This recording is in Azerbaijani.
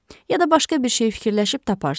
Ya da başqa bir şey fikirləşib taparsınız.